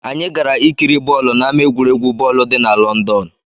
Anyị gara ikiri bọọlụ n'ámá egwuregwu bọọlụ dị na Lọndọn.